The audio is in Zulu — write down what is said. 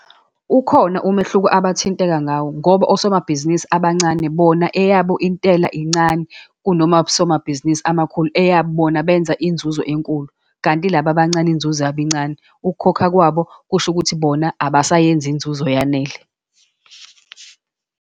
Ukhona umehluko abathinteka ngawo, ngoba osomabhizinisi abancane bona eyabo intela incane, kunomab'somabhizinisi amakhulu, eyabo bona benza inzuzo enkulu, kanti laba abancane iy'nzuzo incane. Ukukhokha kwabo kusho ukuthi bona abasayenzi inzuzo eyanele.